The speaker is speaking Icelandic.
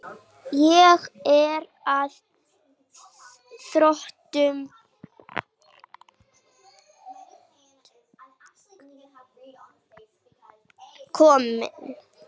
Ég er að þrotum kominn.